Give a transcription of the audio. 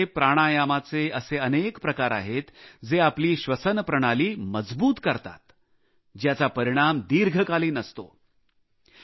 योग मध्ये प्राणायामचे असे अनेक प्रकार आहेत जे आपली श्वसन प्रणाली मजबूत करतात ज्याचा परिणाम दीर्घकालीन राहतो